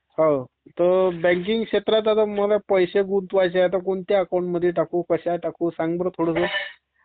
हा. तर बँकिंग क्षेत्रात आता मंला पैसे गुंतवायचे आहेत तर कोणत्या अकाउंटमध्ये टाकू, कसे टाकू? सांग बर थोडसं.